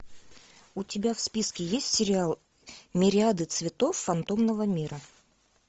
у тебя в списке есть сериал мириады цветов фантомного мира